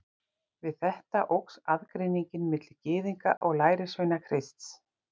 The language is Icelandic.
Við þetta óx aðgreiningin milli Gyðinga og lærisveina Krists.